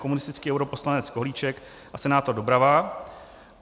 Komunistický europoslanec Kohlíček a senátor Doubrava.